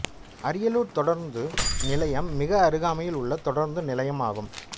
அரியலூர் தொடருந்து நிலையம் மிக அருகாமையில் உள்ள தொடருந்து நிலையம் ஆகும்